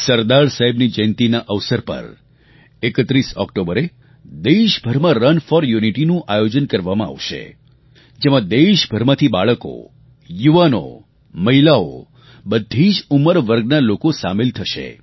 સરદાર સાહેબની જયંતીનાં અવસર પર 31 ઑક્ટોબરે દેશભરમાં રન ફૉર યૂનિટીનું આયોજન કરવામાં આવશે જેમાં દેશભરમાંથી બાળકો યુવાનો મહિલાઓ બધી જ ઉંમરવર્ગના લોકો સામેલ થશે